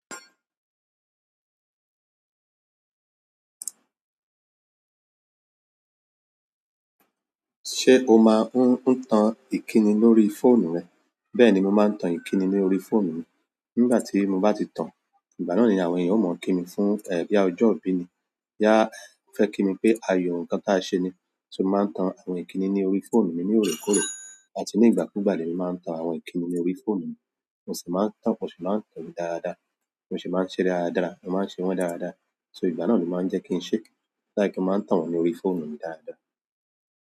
Ṣé o máa ń tan ìkíni lórí fóònù rẹ? Bẹ́ẹ̀ni, mo máa ń tan ìkíni lórí fóònù mi. Nígbà tí mo bá ti tan, ìgbà náà ni àwọn ènìyàn ó mọ̀ kí mi fún boya ojọ ibí ni. Boyá fẹ́ kí mi pé ayọ ǹkan tí a ṣe ni. So mo máa ń tan àwọn ìkíni ní orí fóònù mi ní òrékòóró àti ní ìgbà kúùgbàlé lemi máa ń tan àwọn ìkíni ní orí fóònù mi. Mo sì máa ń tàn, mo sì máa ń tan-an dáadáa. Mo sì máa ń ṣe é dáradára. Mo máa ń ṣe wọ́n dáradára. So ìgbà náà ló máa ń jẹ́ kí n ṣe. Mo máa ń tan wọ́n ní orí fóònù mi dáadáa.